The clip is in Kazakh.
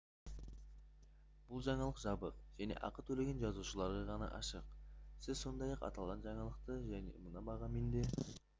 бұл жаңалық жабық және ақы төлеген жазылушыларға ғана ашық сіз сондай-ақ аталған жаңалықты мына бағамен де